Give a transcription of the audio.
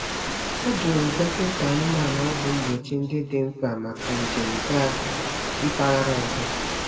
Ha jụrụ dọkịta anụmanụ ọgwụ mgbochi ndị dị mkpa maka njem gaa mpaghara ọzọ.